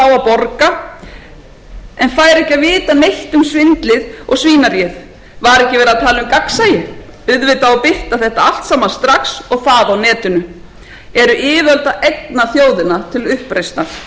borga en fær ekki að vita neitt um svindlið og svínaríið var ekki verið að tala um gagnsæi auðvitað á að birta þetta allt saman strax og það á netinu eru yfirvöld að egna þjóðina til uppreisnar